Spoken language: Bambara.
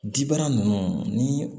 Dibana ninnu ni